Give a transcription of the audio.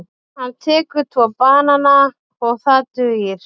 Hann tekur tvo banana og það dugir.